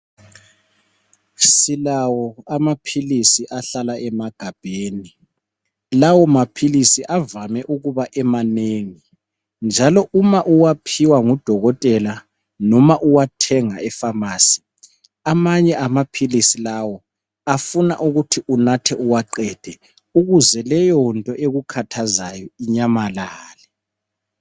Silawo amaphilisi ahlala emagabheni lawo maphilisi avame ukuba emanengi, njalo uma uwaphiwa ngudokotela noma uwathenga efamasi amanye amaphilisi lawo afuna uwanathe uwaqede ukuze leyonto ekukhathazayo inyamalale.